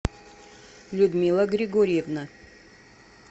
людмила григорьевна